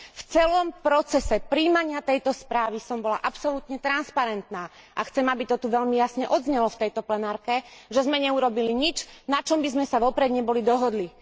V celom procese prijímania tejto správy som bola absolútne transparentná a chcem, aby to tu veľmi jasne odznelo v tomto pléne, že sme neurobili nič, na čom by sme sa neboli vopred dohodli.